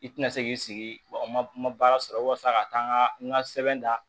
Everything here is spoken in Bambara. I tina se k'i sigi wa n ma baara sɔrɔ walasa ka taa n ka n ka sɛbɛn da